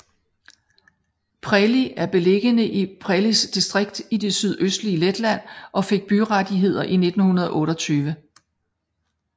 Preiļi er beliggende i Preiļis distrikt i det sydøstlige Letland og fik byrettigheder i 1928